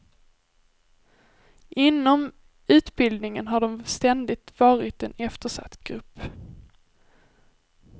Inom utbildningen har de ständigt varit en eftersatt grupp.